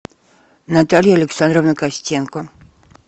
наталья александровна костенко